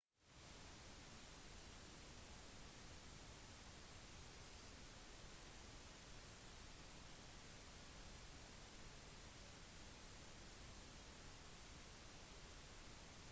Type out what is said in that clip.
den irske regjeringen stresser fremhever viktigheten av parlamentarisk lovverk for å korrigere situasjonen